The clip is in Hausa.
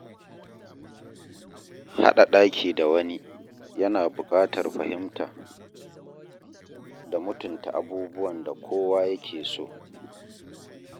Haɗa ɗaki da wani yana buƙatar fahimta da mutunta abubuwan da kowa yake so.